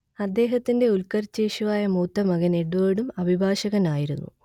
അദ്ദേഹത്തിന്റെ ഉൽക്കർഷേച്ഛുവായ മൂത്തമകൻ എഡ്വേർഡും അഭിഭാഷകനായിരുന്നു